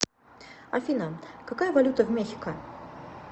афина какая валюта в мехико